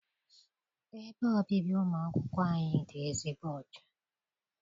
Ebe obibi ụmụ akwụkwọ anyị dị ezigbo ọcha.